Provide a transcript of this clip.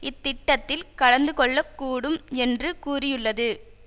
இத்திட்டத்தில் கலந்து கொள்ள கூடும் என்று கூறியுள்ளது